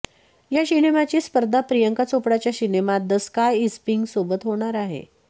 या सिनेमाची स्पर्धा प्रियंका चोपडाचा सिनेमात द स्काय इज पिंक सोबत होणार आहे